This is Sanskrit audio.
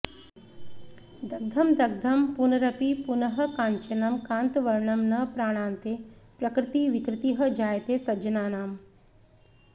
दग्धं दग्धं पुनरपि पुनः काञ्चनं कान्तवर्णं न प्राणान्ते प्रकृतिविकृतिः जायते सज्जनानाम्